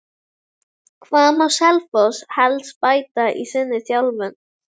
Hvað má Selfoss helst bæta í sinni þjálfun?